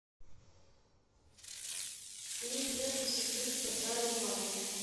клип верка сердючка трали вали